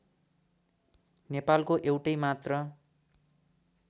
नेपालको एउटै मात्र